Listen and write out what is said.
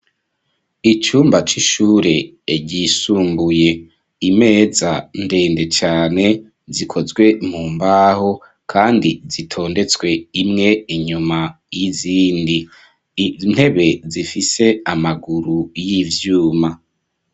Icumba c'ishuri ryisumbuye, imeza ndende cane ikozwe mumbaho Kandi zitondetswe imwe inyuma yizindi Kandi intebe zifise amaguru yivyuma.